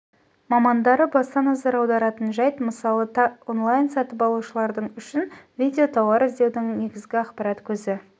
мамандары баса назар аударатын жәйт мысалы та онлайн-сатып алушылардың үшін видео тауар іздеудің негізгі ақпарат көзі